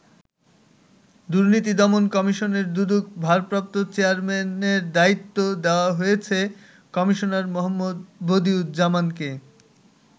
দুর্নীতি দমন কমিশনের দুদক ভারপ্রাপ্ত চেয়ারম্যানের দায়িত্ব দেওয়া হয়েছে কমিশনার মো. বদিউজ্জামানকে।